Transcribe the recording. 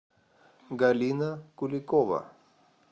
галина куликова